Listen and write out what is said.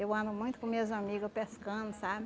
Eu ando muito com minhas amigas pescando, sabe?